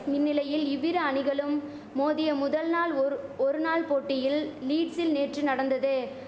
இந்நிலையில் இவ்விரு அணிகளும் மோதிய முதல் நாள் ஒரு ஒரு நாள் போட்டியில் லீட்சில் நேற்று நடந்தது